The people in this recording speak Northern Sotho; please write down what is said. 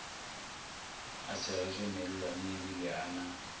a segetšwe mellwaneebile a na